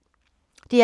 DR P3